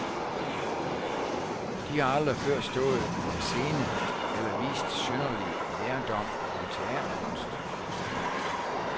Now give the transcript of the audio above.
De har aldrig før stået på en scene eller vist synderlig lærdom om teaterkunst.